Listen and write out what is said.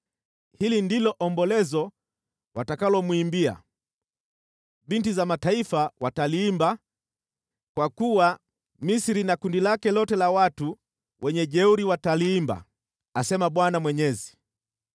“Hili ndilo ombolezo watakalomwimbia. Binti za mataifa wataliimba, kwa kuwa Misri na makundi yake yote ya wajeuri wataliimba, asema Bwana Mwenyezi.”